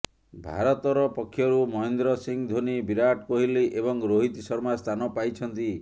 ଭାରତର ପକ୍ଷରୁ ମହେନ୍ଦ୍ର ସିଂହ ଧୋନୀ ବିରାଟ କୋହଲି ଏବଂ ରୋହିତ ଶର୍ମା ସ୍ଥାନ ପାଇଛନ୍ତି